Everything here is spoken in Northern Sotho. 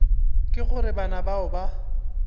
ka gore bana bao ba